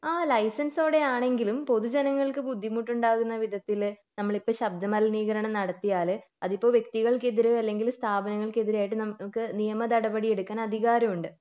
ആഹ് ലൈസെൻസോടെ ആണെങ്കിലും പൊതു ജനങ്ങൾക്ക് ബുദ്ധിമുട്ടുണ്ടാവുന്ന വിധത്തിൽ നമ്മളിപ്പോ ശബ്ദ മലിനീകരണം നടത്തിയാൽ അതിപ്പോ വ്യക്തികൾക്കെതിരെ അല്ലെങ്കിൽ സ്ഥാപനങ്ങക്ക് എതിരെ ആയിട്ട് നമുക്ക് നിയമ നടപടി എടുക്കാൻ അധികാരമുണ്ട്